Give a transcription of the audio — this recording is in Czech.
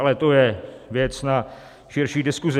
Ale to je věc na širší diskuzi.